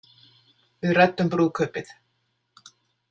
Við ræddum brúðkaupið.